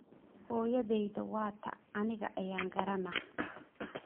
Xoyodheyta wata aniga ayan karanax.